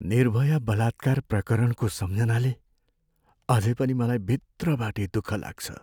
निर्भया बलात्कार प्रकरणको सम्झनाले अझै पनि मलाई भित्रबाटै दुःख लाग्छ।